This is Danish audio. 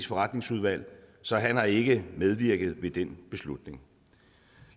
forretningsudvalg så han har ikke medvirket ved den beslutning